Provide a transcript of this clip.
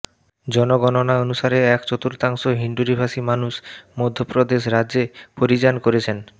জনগণনা অনুসারে এক চতুর্থাংশ হিণ্ডুরীভাষী মানুষ মধ্যপ্রদেশ রাজ্যে পরিযান করেছেন